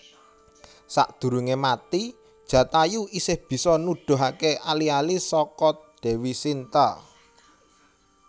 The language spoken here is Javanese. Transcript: Sadurunge mati Jatayu isih bisa nuduhaké ali ali saka Dèwi Sinta